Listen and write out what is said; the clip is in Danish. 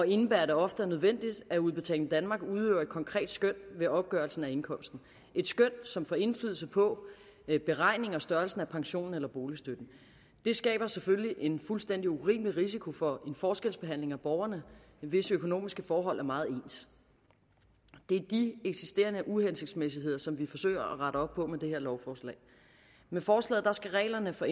indebærer at det ofte er nødvendigt at udbetaling danmark udøver et konkret skøn ved opgørelsen af indkomsten et skøn som får indflydelse på beregningen og størrelsen af pensionen eller boligstøtten det skaber selvfølgelig en fuldstændig urimelig risiko for forskelsbehandling af borgere hvis økonomiske forhold er meget ens det er de eksisterende uhensigtsmæssigheder som vi forsøger at rette op på med det her lovforslag med forslaget skal reglerne for